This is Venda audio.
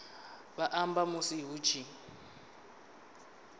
vha amba musi hu tshi